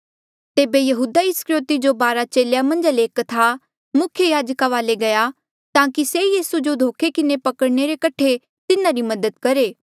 तेबे यहूदा इस्करयोति जो बारा चेलेया मन्झा ले एक था मुख्य याजका वाले गया ताकि से यीसू जो धोखे किन्हे पकड़ने रे कठे तिन्हारी मदद करहे